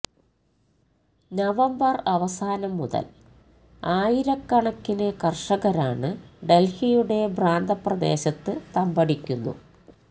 November അവസാനം മുതല് ആയിരക്കണക്കിന് കര്ഷകരാണ് ഡല്ഹിയുടെ പ്രാന്തപ്രദേശത്ത് തമ്പടിക്കുന്നു